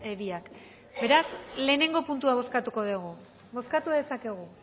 biak beraz lehenengo puntua bozkatuko dugu bozkatu dezakegu